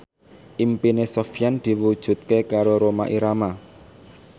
impine Sofyan diwujudke karo Rhoma Irama